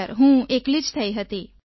sir હું એકલી જ થઈ હતી